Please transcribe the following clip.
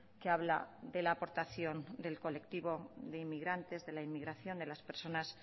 que habla de la aportación del colectivo de inmigrantes de la inmigración de las personas